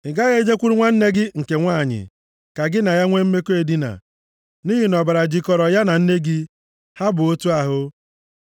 “ ‘Ị gaghị e jekwuru nwanne nne gị nke nwanyị, ka gị na ya nwe mmekọ edina, nʼihi na ọbara jịkọrọ ya na nne gị, ha bụ otu ahụ.